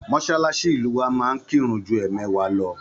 Mosalasi ilu wa máa ń kirun ju emewa lọ.